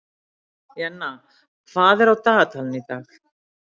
Jenna, hvað er á dagatalinu í dag?